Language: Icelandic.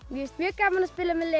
finnst mjög gaman að